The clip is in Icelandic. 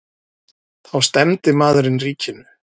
Þá stefndi maðurinn ríkinu.